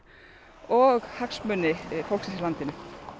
og hagsmuni fólksins i landinu